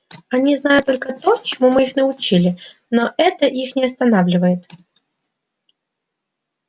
они знают только то чему мы их научили но это их не останавливает